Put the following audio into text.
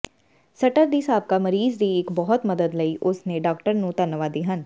ਸਟਰ ਦੀ ਸਾਬਕਾ ਮਰੀਜ਼ ਦੀ ਇੱਕ ਬਹੁਤ ਮਦਦ ਲਈ ਉਸ ਦੇ ਡਾਕਟਰ ਨੂੰ ਧੰਨਵਾਦੀ ਹਨ